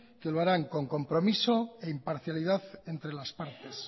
que lo harán con compromiso e imparcialidad entre las partes